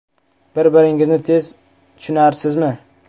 Bir-biringizni tez tushunasizmi?